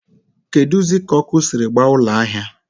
keduzị ka ọkụ siri gbaa ụlọ ahịa?